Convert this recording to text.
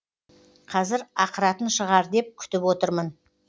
қазір ақыратын шығар деп күтіп отырмын